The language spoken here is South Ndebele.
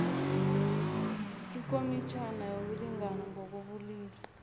ikomitjhana yokulingana ngokobulili